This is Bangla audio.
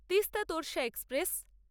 তিস্তা তোরশা এক্সপ্রেস